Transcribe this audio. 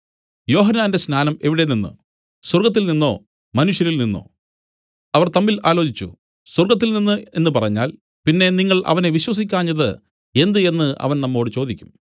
യോഹന്നാന്റെ സ്നാനം എവിടെ നിന്നു സ്വർഗ്ഗത്തിൽനിന്നോ മനുഷ്യരിൽനിന്നോ അവർ തമ്മിൽ ആലോചിച്ചു സ്വർഗ്ഗത്തിൽനിന്ന് എന്നു പറഞ്ഞാൽ പിന്നെ നിങ്ങൾ അവനെ വിശ്വസിക്കാഞ്ഞത് എന്ത് എന്നു അവൻ നമ്മോടു ചോദിക്കും